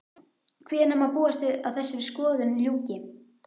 Hvenær má búast við að þessari skoðun ljúki?